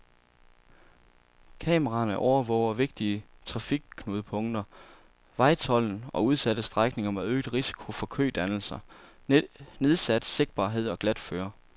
Kameraerne overvåger vigtige trafikknudepunkter, vejtolden og udsatte strækninger med øget risiko for kødannelser, nedsat sigtbarhed og glatføre.